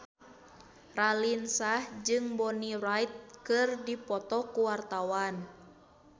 Raline Shah jeung Bonnie Wright keur dipoto ku wartawan